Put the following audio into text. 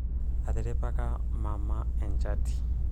atiripaka mama enchati